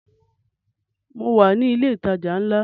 Mo wà ní ilẹ̀ ìtajà ńlá